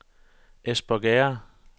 Espergærde